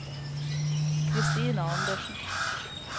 Christina Andersen